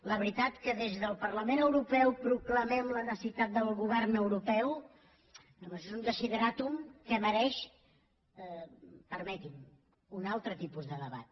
la veritat que des del parlament europeu proclamem la necessitat del govern europeu això és un desideràtum que mereix permeti m’ho un altre tipus de debat